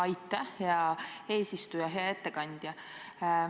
Aitäh, hea eesistuja!